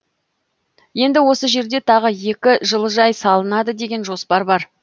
енді осы жерде тағы екі жылыжай салынады деген жоспар бар